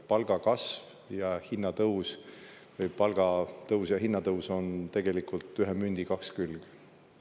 Palgakasv ja hinnatõus või palgatõus ja hinnatõus on tegelikult ühe mündi kaks külge.